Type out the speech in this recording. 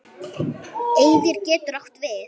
Eyðir getur átt við